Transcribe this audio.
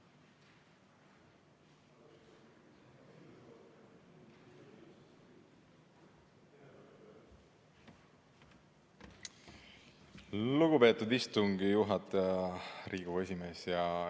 Lugupeetud istungi juhataja, Riigikogu esimees!